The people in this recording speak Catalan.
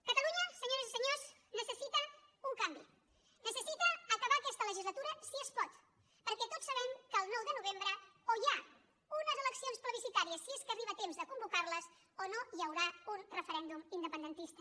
catalunya senyores i senyors necessita un canvi necessita acabar aquesta legislatura si es pot perquè tots sabem que el nou de novembre o hi ha unes eleccions plebiscitàries si és que arriba a temps de convocar les o no hi haurà un referèndum independentista